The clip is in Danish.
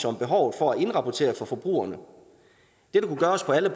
om behovet for at indrapportere over for forbrugerne dette kunne gøres på alle